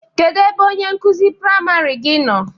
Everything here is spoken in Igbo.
Kedụ ebe onye nkụzi priamarị gị nọ?